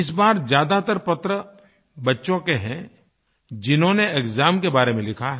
इस बार ज्यादातर पत्र बच्चों के हैं जिन्होंने एक्साम के बारे में लिखा है